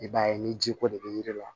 I b'a ye ni ji ko de bɛ yiri la